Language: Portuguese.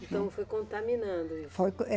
Então foi contaminando. Foi, é